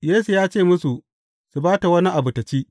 Yesu ya ce musu, su ba ta wani abu tă ci.